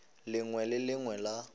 lengwe le le lengwe la